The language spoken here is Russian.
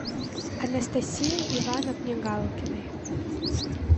анастасии ивановне галкиной